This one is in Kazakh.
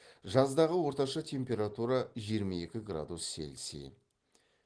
жаздағы орташа температура жиырма екі градус цельсий